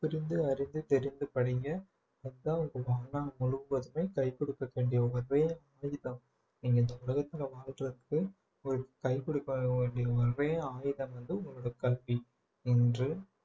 புரிந்து அறிந்து தெரிந்து படிங்க அதுதான் உங்க வாழ்நாள் முழுவதுமே கை கொடுக்க வேண்டிய ஒரே நீங்க இந்த உலகத்துல வாழ்றதுக்கு ஒரு கைகுடுக்க வேண்டிய ஒரே ஆயுதம் வந்து உங்களோட கல்வி என்று